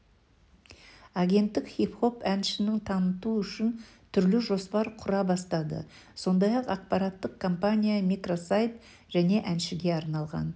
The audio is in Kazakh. агенттік хип-хоп әншіні таныту үшін түрлі жоспар құра бастады сондай-ақ ақпараттық кампания микросайт және әншіге арналған